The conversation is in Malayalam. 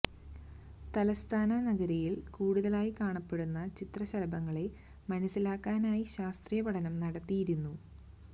തലസ്ഥാന നഗരിയില് കൂടുതലായി കാണപ്പെടുന്ന ചിത്രശലഭങ്ങളെ മനസ്സിലാക്കാനായി ശാസ്ത്രീയ പഠനം നടത്തിയിരുന്നു